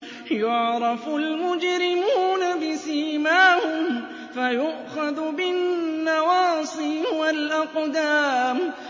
يُعْرَفُ الْمُجْرِمُونَ بِسِيمَاهُمْ فَيُؤْخَذُ بِالنَّوَاصِي وَالْأَقْدَامِ